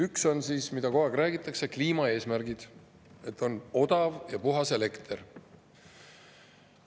Ühed on, millest kogu aeg räägitakse, kliimaeesmärgid: odav ja puhas elekter.